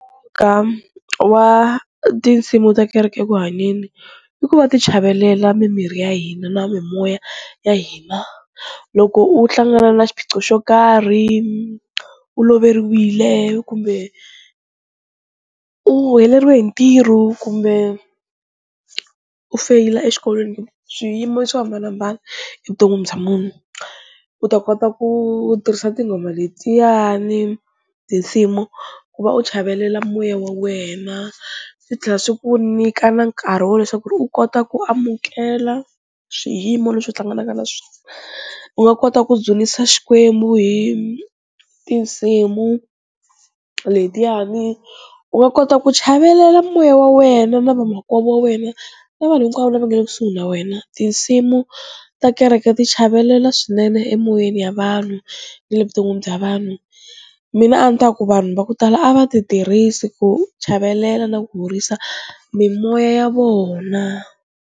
Ka wa tinsimu ta kereke eku hanyeni i ku va ti chavelela mimiri ya hina na mimoya ya hina loko u hlangana na xiphiqo xo karhi u loveriwile kumbe u heleriwe hi ntirhu kumbe u feyila exikolweni kumbe swiyimo swo hambanahambana evuton'wini bya munhu, u ta kota ku tirhisa tinghoma letiyani tinsimu ku va u chavelela moya wa wena swi tlhela swi ku nyika na nkarhi wa leswaku u kota ku amukela swiyimo leswi u hlanganaka na swona, u nga kota ku dzunisa xikwembu hi tinsimu letiyani u nga kota ku chavelela moya wa wena na vamakwavo wa wena na vanhu hinkwavo lava nga le kusuhi na wena, tinsimu ta kereke ti chavelela swinene emoyeni ya vanhu ni le vuton'wini bya vanhu mina a ni ta ku vanhu va ku tala a va ti tirhisi ku chavelela na ku horisa mimoya ya vona.